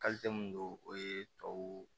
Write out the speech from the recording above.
mun don o ye tubabuw